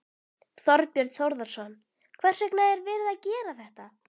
Þorbjörn Þórðarson: Hvers vegna er verið að gera þetta?